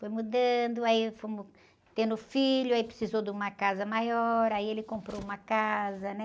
Foi mudando, aí fomos tendo filho, aí precisou de uma casa maior, aí ele comprou uma casa, né?